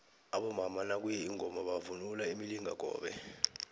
abomama nakuye ingoma bavunula imilingakobe